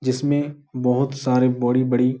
जिसमें बहुत सारे बोड़ी - बड़ी --